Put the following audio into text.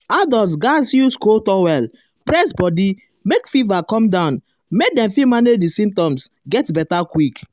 adults gatz use cold towel um press body make fever come down make dem um fit manage di symptoms get beta quick.